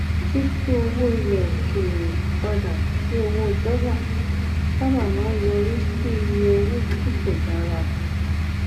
títú owó ilè òkèèrè padà sí owó dólà sábà máa ń yọrí sí iye owó tí kò dára